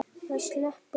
Það sleppur þó.